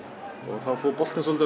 þá fór boltinn svolítið